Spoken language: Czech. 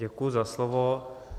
Děkuji za slovo.